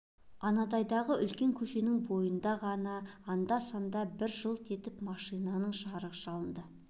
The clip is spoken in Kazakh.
анандайдағы үлкен көшенің бойынан ғана анда-санда бір жылт етіп машинаның жарығы шалынады